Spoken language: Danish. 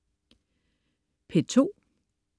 P2: